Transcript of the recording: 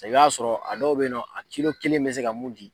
A ta i ka sɔrɔ a dɔw bɛ yen a kilo kelen bɛ se ka mun di.